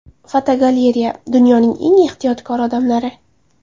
Fotogalereya: Dunyoning eng ehtiyotkor odamlari.